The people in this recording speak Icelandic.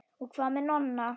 Og hvað með Nonna?